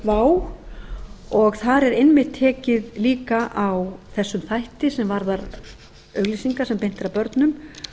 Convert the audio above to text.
vá og þar er einmitt tekið líka á þessum þætti sem varðar auglýsingar sem beint er að börnum